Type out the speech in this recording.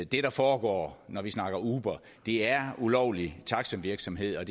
det der foregår når vi snakker uber er ulovlig taxivirksomhed og